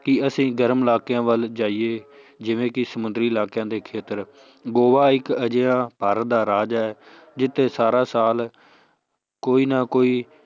ਕਿ ਅਸੀਂ ਗਰਮ ਇਲਾਕਿਆਂ ਵੱਲ ਜਾਈਏ ਜਿਵੇਂ ਕਿ ਸਮੁੰਦਰੀ ਇਲਾਕਿਆਂ ਦੇ ਖੇਤਰ ਗੋਆ ਇੱਕ ਅਜਿਹਾ ਭਾਰਤ ਦਾ ਰਾਜ ਹੈ ਜਿੱਥੇ ਸਾਰਾ ਸਾਲ ਕੋਈ ਨਾ ਕੋਈ